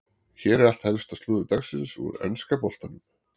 Hér er allt helsta slúður dagsins úr enska boltanum.